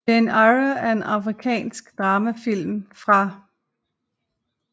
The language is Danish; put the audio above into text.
Jane Eyre er en amerikansk dramafilm fra